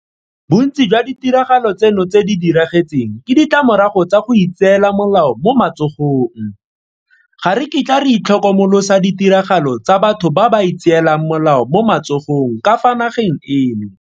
Bontsi jwa ditiragalo tseno tse di diragetseng ke ditlamorago tsa go itseela molao mo matsogong. Ga re kitla re itlhokomolosa ditiragalo tsa batho ba ba itseelang molao mo matsogong ka fa nageng eno.